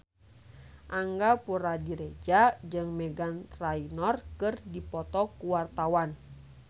Angga Puradiredja jeung Meghan Trainor keur dipoto ku wartawan